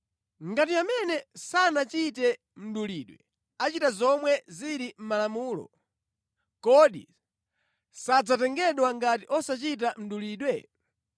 Ngati amene sanachite mdulidwe achita zomwe zili mʼMalamulo, kodi sadzatengedwa ngati ochita mdulidwe?